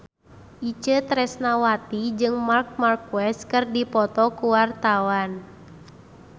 Itje Tresnawati jeung Marc Marquez keur dipoto ku wartawan